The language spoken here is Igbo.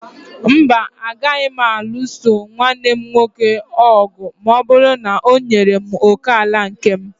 Mba, agaraghị m ịlụso nwanne m nwoke ọgụ ma ọ bụrụ na o nyere m òkè ala nke m